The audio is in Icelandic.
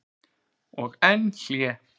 Og enn hlé.